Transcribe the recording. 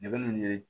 Ne bɛ mun ɲini